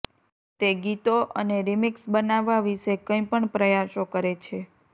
તે ગીતો અને રિમિક્સ બનાવવા વિશે કંઈ પણ પ્રયાસો કરે છે